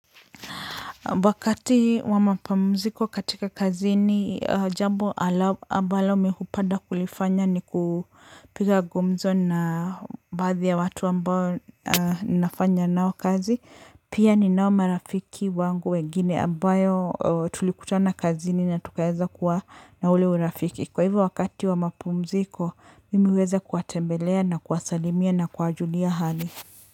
Wakati wa mapamziko katika kazini, jambo ambalo mi hupeda kulifanya ni kupiga gumzo na baadhi ya watu ambao nafanya nao kazi. Pia ninao marafiki wangu wegine ambayo tulikutana kazini na tukaeza kuwa na ule urafiki. Kwa hivyo wakati wa mapamuziko, mimi huweza kuwatembelea na kuwasalimia na kuwa julia hali.